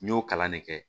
N y'o kalan ne kɛ